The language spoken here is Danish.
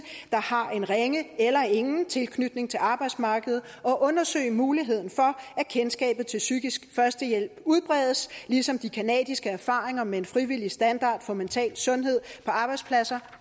der har en ringe eller ingen tilknytning til arbejdsmarkedet og undersøge muligheden for at kendskabet til psykisk førstehjælp udbredes ligesom de canadiske erfaringer med en frivillig standard for mental sundhed på arbejdspladser